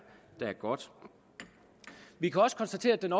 godt vi kan også konstatere at den